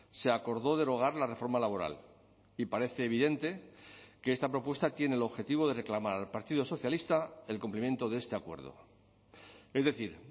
se acordó derogar la reforma laboral y parece evidente que esta propuesta tiene el objetivo de reclamar al partido socialista el cumplimiento de este acuerdo es decir